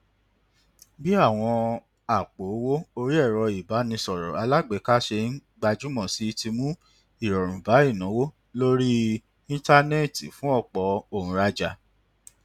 bí àwọn àpò owó orí ẹrọ ìbánisọrọ alágbèéká ṣe ń gbajúmọ sí ti mú ìrọrùn bá ìnáwó lórí íńtánẹẹtì fún ọpọ òǹràjà